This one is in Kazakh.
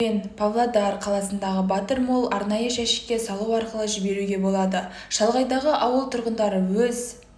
керуен павлодар қаласындағы батыр молл арнайы жәшікке салу арқылы жіберуге болады шалғайдағы ауыл тұрғындары өз